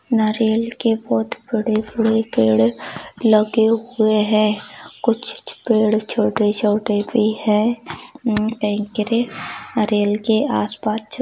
नारियल के बहुत बड़े-बड़े पेड़ लगे हुए है कुछ छ पेड़ छोटे-छोटे भी है अम नारियल के आस पास--